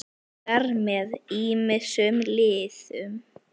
Síðar með ýmsum liðum.